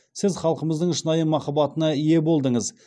сіз халқымыздың шынайы махаббатына ие болдыңыз